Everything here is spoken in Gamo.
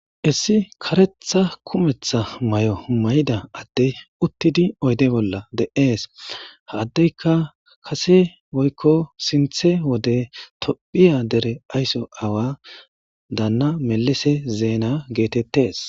issi karetha kumetha may7o may7ida adde uttidi oyde bolla de7ees haddeyka kase woykko sinthe wode tophiya dere aysso awa daanna melese zeena geetettes